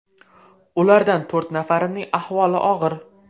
Ulardan to‘rt nafarining ahvoli og‘ir.